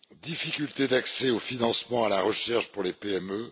difficultés d'accès au financement de la recherche pour les PME